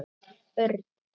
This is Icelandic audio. Örn!